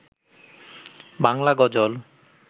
Bangla গজল